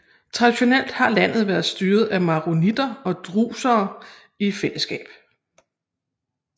Traditionelt havde landet været styret af maronitter og druser i fællesskab